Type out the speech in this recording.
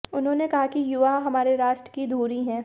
उन्होंने कहा कि युवा हमारे राष्ट्र की धुरी हैं